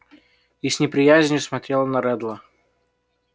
и с неприязнью смотрела на реддла